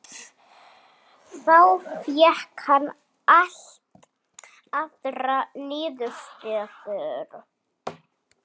Þá fékk hann allt aðrar niðurstöður.